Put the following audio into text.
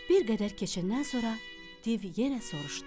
Bir qədər keçəndən sonra div yenə soruşdu.